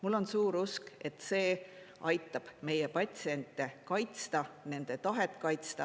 Mul on suur usk, et see aitab meie patsiente kaitsta, nende tahet kaitsta.